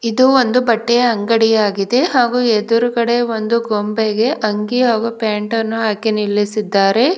ಇದು ಒಂದು ಬಟ್ಟೆಯ ಅಂಗಡಿಯಾಗಿದೆ ಹಾಗು ಎದ್ರುಗಡೆ ಒಂದು ಗೊಂಬೆಗೆ ಅಂಗಿ ಹಾಗು ಪ್ಯಾಂಟ್ ಅನ್ನು ಹಾಕಿ ನಿಲ್ಲಿಸಿದ್ದಾರೆ.